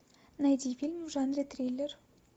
найди фильм в жанре триллер